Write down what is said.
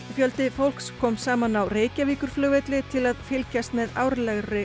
fjöldi fólks kom saman á Reykjavíkurflugvelli til að fylgjast með árlegri